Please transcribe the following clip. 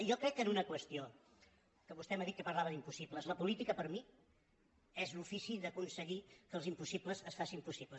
jo crec en una qüestió que vostè m’ha dit que parlava d’impossibles la política per mi és l’ofici d’aconseguir que els impossibles es facin possibles